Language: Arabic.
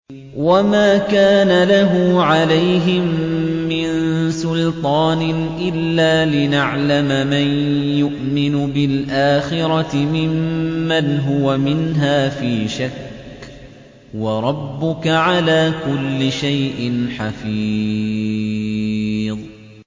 وَمَا كَانَ لَهُ عَلَيْهِم مِّن سُلْطَانٍ إِلَّا لِنَعْلَمَ مَن يُؤْمِنُ بِالْآخِرَةِ مِمَّنْ هُوَ مِنْهَا فِي شَكٍّ ۗ وَرَبُّكَ عَلَىٰ كُلِّ شَيْءٍ حَفِيظٌ